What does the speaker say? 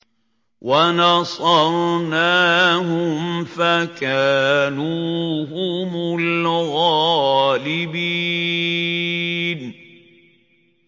وَنَصَرْنَاهُمْ فَكَانُوا هُمُ الْغَالِبِينَ